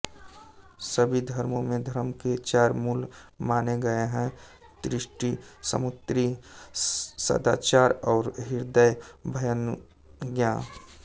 सभी धर्मो में धर्म के चार मूल माने गए हैं त्रुटि स्मृति सदाचार और हृदयाभ्यनुज्ञा